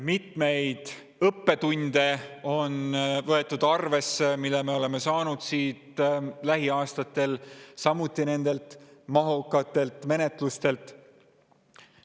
On võetud arvesse mitmeid õppetunde, mille me oleme saanud lähiaastatel nendelt mahukatelt menetlustelt.